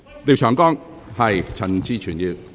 廖長江議員，請發言。